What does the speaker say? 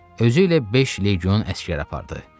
Özü ilə beş legion əsgər apardı.